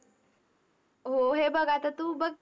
हो. हे बघ आता तू बघ,